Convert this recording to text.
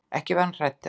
Ekki var hann hræddur.